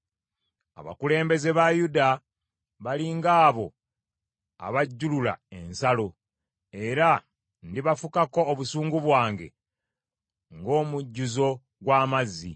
Abakulembeze ba Yuda bali ng’abo abajjulula ensalo, era ndibafukako obusungu bwange ng’omujjuzo gw’amazzi.